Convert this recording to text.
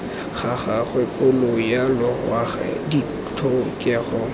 ga gagwe kgolo yaloago ditlhokego